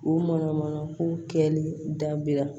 U mana mana ko kɛli dabila